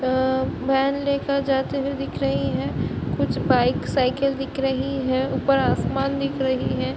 अ van लेकर जाते हुए दिख रही है कुछ बाइक साइकिल दिख रही हैं ऊपर आसमान दिख रही है।